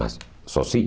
Mas sozinho